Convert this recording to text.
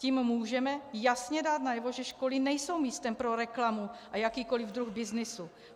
Tím můžeme jasně dát najevo, že školy nejsou místem pro reklamu a jakýkoliv druh byznysu.